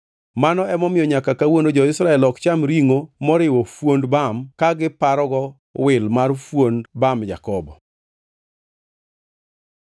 Mano emomiyo nyaka kawuono jo-Israel ok cham ringʼo moriwo fuond bam ka giparogo wil mar fuond bam Jakobo.